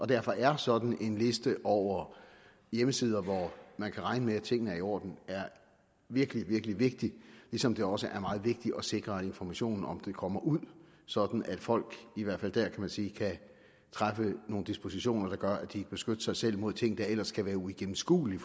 derfor er sådan en liste over hjemmesider hvor man kan regne med at tingene er i orden virkelig virkelig vigtig ligesom det også er meget vigtigt at sikre at informationen om den kommer ud sådan at folk i hvert fald der man sige kan træffe nogle dispositioner der gør at de kan beskytte sig selv mod ting der ellers kan være uigennemskuelige